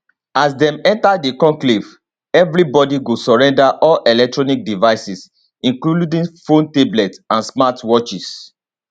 as dem enta di conclave evri body go surrender all electronic devices including phones tablets and smart watches